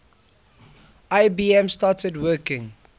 ibm started working